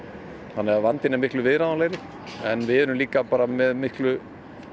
þannig að vandinn er miklu viðráðanlegri en við erum líka með miklu